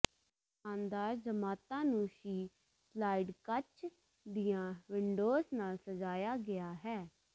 ਸ਼ਾਨਦਾਰ ਜਮਾਤਾਂ ਨੂੰ ਸ਼ੀ ਸਲਾਇਡ ਕੱਚ ਦੀਆਂ ਵਿੰਡੋਜ਼ ਨਾਲ ਸਜਾਇਆ ਗਿਆ ਹੈ